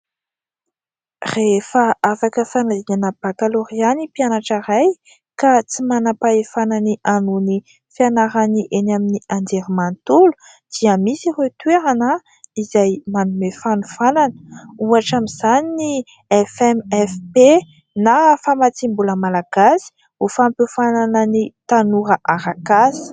Rehefa afaka fanadinana bakalorea ny mpianatra iray ka tsy manam-pahefana ny hanohy ny fianarany eny amin'ny Anjermantolo dia misy ireo toerana izay manome fanofànana. Ohatra amin'izany ny FMFP na Famatsiambola Malagasy ho Fampiofanana ny Tanora Arakasa.